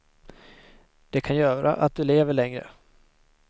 Det kan göra att du lever längre.